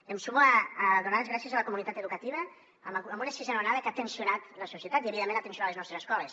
em sumo a donar les gràcies a la comunitat educativa amb una sisena onada que ha tensionat la societat i evidentment ha tensionat les nostres escoles